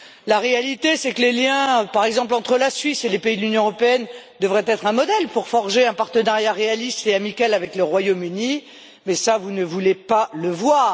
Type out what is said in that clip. La réalité, c'est que les liens entretenus, par exemple, entre la Suisse et les pays de l'Union européenne devraient être un modèle pour forger un partenariat réaliste et amical avec le Royaume Uni, mais vous ne voulez pas le voir.